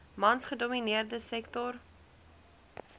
mans gedomineerde sektor